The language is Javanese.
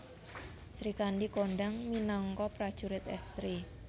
Srikandhi kondhang minangka prajurit èstri